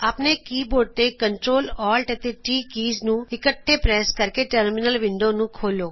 ਆਪਣੇ ਕੀਬੋਰਡ ਤੋ Ctrl Alt ਅਤੇ T ਕੀਜ਼ ਨੂੰ ਇਕੱਠੇ ਪ੍ਰੈਸ ਕਰਕੇ ਟਰਮੀਨਲ ਵਿੰਡੋ ਨੂੰ ਖੋੱਲੋ